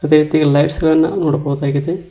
ಅದೇ ರೀತಿ ಲೈಟ್ಸ್ ಗಳನ್ನ ನೋಡಬಹುದಾಗಿದೆ.